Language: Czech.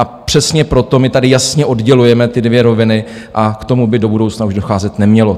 A přesně proto my tady jasně oddělujeme ty dvě roviny a k tomu by do budoucna už docházet nemělo.